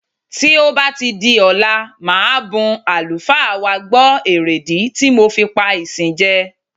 Tí ó bá di ọ̀la màá bun àlùfáà wa gbọ̀ èrèdí ti mo fi pá ìsìn jẹ.